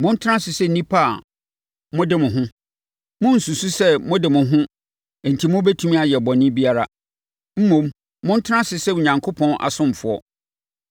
Montena ase sɛ nnipa a mode mo ho. Monnsusu sɛ mo de mo ho enti mobɛtumi ayɛ bɔne biara. Mmom, montena ase sɛ Onyankopɔn asomfoɔ.